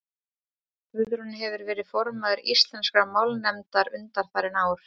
guðrún hefur verið formaður íslenskrar málnefndar undanfarin ár